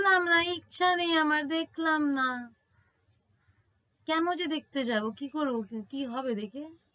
না না ইচ্ছে নাই আমার দেখলাম না। কেন যে দেখতে যাব। কি করব, কি হবে এতে?